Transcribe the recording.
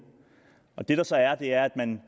det der så er er at man